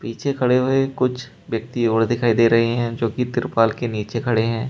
पीछे खड़े हुए कुछ व्यक्ति और दिखाई दे रहे हैं जोकि तिरपाल के नीचे खड़े हैं।